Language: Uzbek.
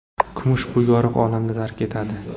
Kumush bu yorug‘ olamni tark etadi.